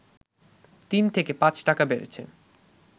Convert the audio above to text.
তিন থেকে পাঁচ টাকা বেড়েছে